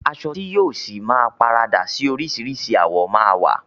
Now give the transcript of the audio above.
Aṣọ ti yìí ọ sí máa paradà síí orisirisi àwọ̀ ma wa.